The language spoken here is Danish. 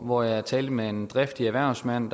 hvor jeg talte med en driftig erhvervsmand